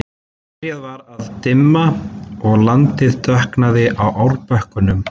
Byrjað var að dimma og landið dökknaði á árbökkunum.